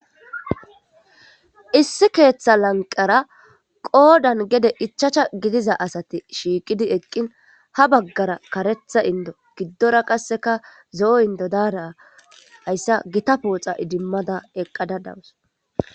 issi keeththa lanqara qoodan gede ichacha gidiza asati shiiqidi eqqin ha baggara karetha indo giddora qasseka zo7o indo daara hayssa gita pooxa idimmada eqqadadawus